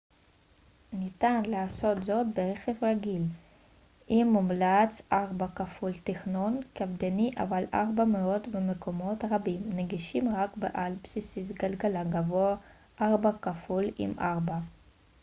ניתן לעשות זאת ברכב רגיל עם תכנון קפדני אבל 4x4 מומלץ מאוד ומקומות רבים נגישים רק עם 4x4 בעל בסיס גלגלים גבוה